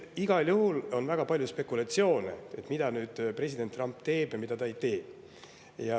On väga palju spekulatsioone, et mida president Trump teeb ja mida ta ei tee.